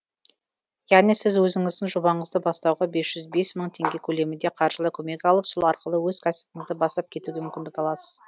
яғни сіз өзіңіздің жобаңызды бастауға бес жүз бес мың теңге көлемінде қаржылай көмек алып сол арқылы өз кәсібіңізді бастап кетуге мүмкіндік аласыз